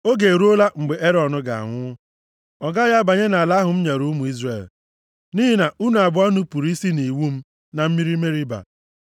“Oge eruola mgbe Erọn ga-anwụ. Ọ gaghị abanye nʼala ahụ m nyere ụmụ Izrel, nʼihi na unu abụọ nupuru isi nʼiwu m na mmiri Meriba.